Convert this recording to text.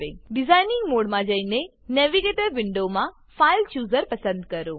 design મોડમાં જઈને navigator navigator વિન્ડોમાં ફાઇલચૂઝર ફાઈલ ચુઝર પસંદ કરો